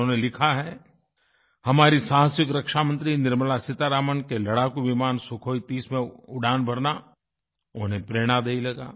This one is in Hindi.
उन्होंने लिखा है हमारी साहसिक रक्षामंत्री निर्मला सीतारमण के लड़ाकू विमान सुखोई 30 में उड़ान भरना उन्हें प्रेरणा दे देगा